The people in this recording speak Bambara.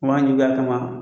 juguya kama